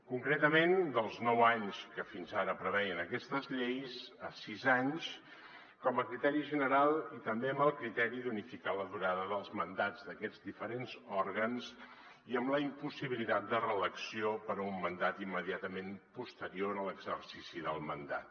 concretament dels nou anys que fins ara preveien aquestes lleis a sis anys com a criteri general i també amb el criteri d’unificar la durada dels mandats d’aquests diferents òrgans i amb la impossibilitat de reelecció per a un mandat immediatament posterior a l’exercici del mandat